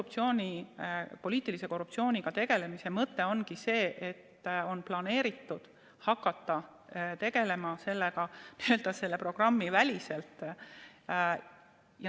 Aga poliitilise korruptsiooniga on planeeritud hakata tegelema n-ö selle programmi väliselt.